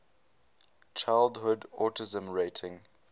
childhood autism rating